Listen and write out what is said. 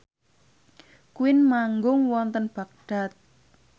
Queen manggung wonten Baghdad